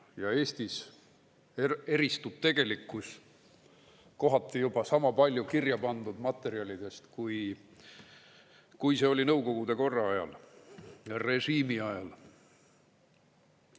Ja Eestis eristub tegelikkus kohati juba sama palju kirja pandud materjalidest, kui see oli nõukogude korra ajal ja režiimi ajal.